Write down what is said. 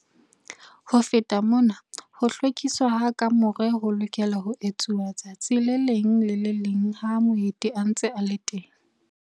Ho feta mona ho hlwekiswa ha kamore ho lokelwa ho etswa letsatsi le leng le le leng ha moeti a ntse a le teng.